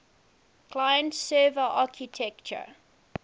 client server architecture